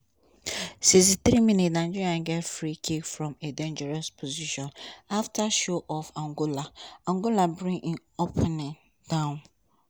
sixty three minutes nigeria get free kick from a dangerous position afta show of angola angola bring im opponent down.